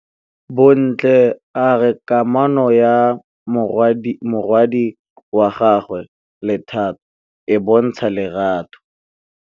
Bontle a re kamanô ya morwadi wa gagwe le Thato e bontsha lerato.